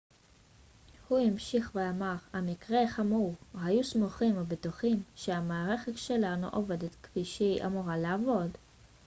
הוא המשיך ואמר המקרה חמור היו סמוכים ובטוחים שהמערכת שלנו עובדת כפי שהיא אמורה לעבוד